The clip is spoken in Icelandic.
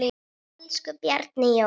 Elsku Bjarni Jón.